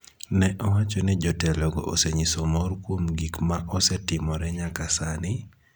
Ne owach ni jotelogo osenyiso mor kuom gik ma osetimore nyaka sani,